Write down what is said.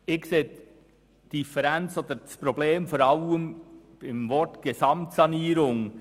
Ich sehe das Problem vor allem im Wort «Gesamtsanierung».